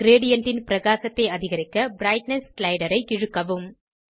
gradient ன் பிரகாசத்தை அதிகரிக்க பிரைட்னெஸ் ஸ்லைடரை இழுக்கவும்